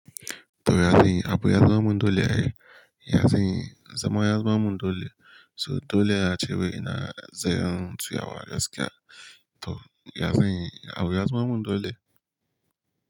To ya aka yi abu ya zama mun dole ai. Ya zanyi, ya zama ya zama mundole. So dole a ce wai ina zan tsiya wa gaskiya. To ya zanyi abu ya zama mun dole.